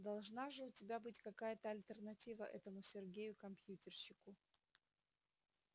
должна же у тебя быть какая-то альтернатива этому сергею компьютерщику